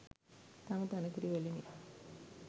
තම තන කිරි වලිනි.